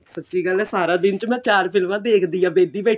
ਸਾਚੀ ਗੱਲ ਏ ਮੈਂ ਸਾਰਾ ਦਿਨ ਚ ਮੈਂ ਚਾਰ ਫ਼ਿਲਮਾ ਦੇਖਦੀ ਆ ਬੈਠੀ ਬੈਠੀ